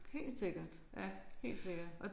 Helt sikkert helt sikkert